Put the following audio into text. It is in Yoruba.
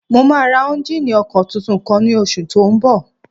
Mo máa ra éúnjínì ọkọ̀ tuntun kan ní oṣù tó n bọ̀